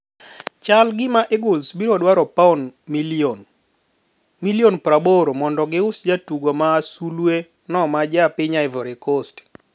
Chal gima Eagles biro dwaro pauni milioni ?80m mondo gi us jatugo ma sulwe no ma ja piny Ivory Coast.